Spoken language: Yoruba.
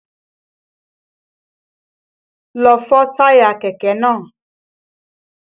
Lọ fọ táyà kẹ̀kẹ́ náà!